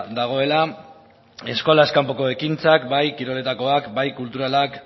dagoela eskolaz kanpoko ekintzak bai kiroletakoak bai kulturalak